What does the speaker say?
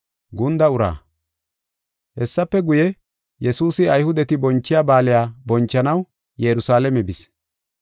Hessafe guye, Yesuusi Ayhudeti bonchiya baaliya bonchanaw Yerusalaame bis.